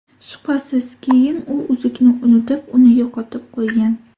Shubhasiz, keyin u uzukni unutib, uni yo‘qotib qo‘ygan.